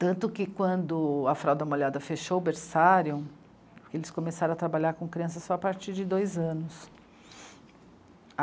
Tanto que quando a Frauda Molhada fechou o Berçário, eles começaram a trabalhar com crianças só a partir de dois anos.